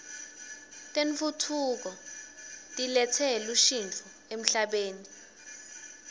tentfutfuko tiletse lushntjo emhlabeni